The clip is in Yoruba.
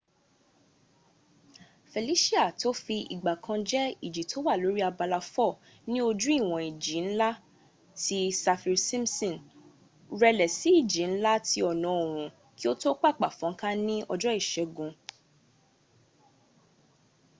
felisia to fi ìgbà kan jẹ ìjì to wà lórí abala 4 ní ojú ìwọ̀n ìjì nla ti saffir-simpson rẹlẹ̀ sí ìjì nla ti ọ̀nà òòorùn kí o to papà fónká ní ọjọ́ ìségun